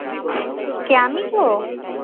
কে আমি তো